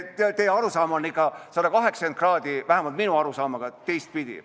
Teie arusaam on ikka 180 kraadi teistpidi kui vähemalt minu arusaam.